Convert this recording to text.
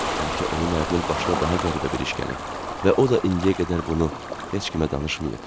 Bəlkə onun ərinin başına daha qəribə bir iş gəlib və o da indiyə qədər bunu heç kimə danışmayıb.